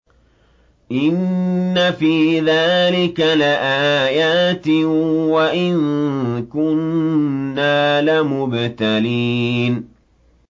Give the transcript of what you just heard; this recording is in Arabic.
إِنَّ فِي ذَٰلِكَ لَآيَاتٍ وَإِن كُنَّا لَمُبْتَلِينَ